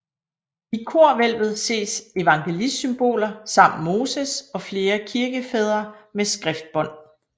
I korhvælvet ses evangelistsymboler samt Moses og flere kirkefædre med skriftbånd